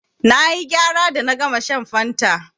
Na yi gyara da na gama shan fanta.